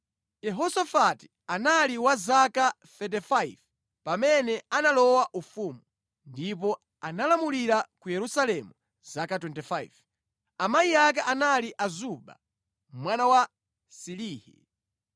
Yehosafati anali wa zaka 35 pamene analowa ufumu, ndipo analamulira ku Yerusalemu zaka 25. Amayi ake anali Azuba mwana wa Silihi.